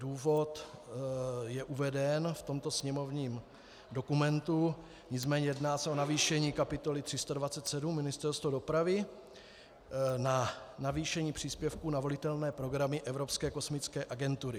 Důvod je uveden v tomto sněmovním dokumentu, nicméně jedná se o navýšení kapitoly 327 Ministerstvo dopravy na navýšení příspěvku na volitelné programy Evropské kosmické agentury.